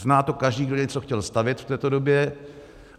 Zná to každý, kdo něco chtěl stavět v této době.